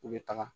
U bɛ taga